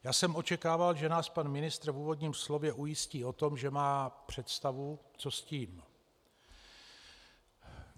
Já jsem očekával, že nás pan ministr v úvodním slově ujistí o tom, že má představu, co s tím.